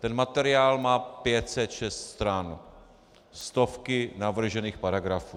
Ten materiál má 506 stran, stovky navržených paragrafů.